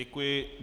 Děkuji.